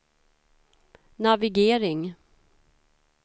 navigering